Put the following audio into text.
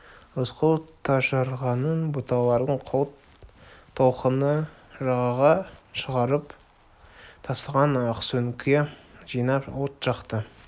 рысқұл тасжарғанның бұталарын қол толқыны жағаға шығарып тастаған ақсөңке жинап от жақты